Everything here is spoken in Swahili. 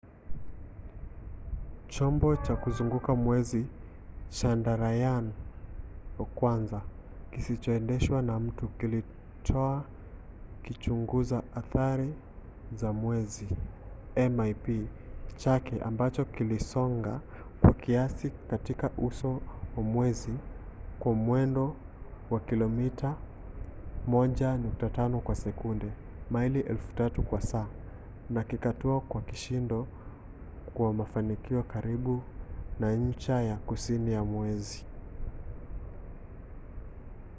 chombo cha kuzunguka mwezi chandrayaan-1 kisichoendeshwa na mtu kilitoa kichunguza athari za mwezi mip chake ambacho kilisonga kwa kasi katika uso wa mwezi kwa mwendo wa kilomita 1.5 kwa sekunde maili 3000 kwa saa na kikatua kwa kishindo kwa mafanikio karibu na ncha ya kusini ya mwezi